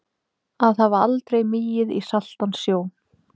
Að hafa aldrei migið í saltan sjó